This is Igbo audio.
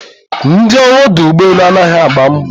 Ndị ọrụ ọdụ ụgbọelu anaghị agba mbọ